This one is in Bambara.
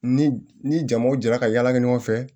Ni ni jamaw jɛra ka yala kɛ ɲɔgɔn fɛ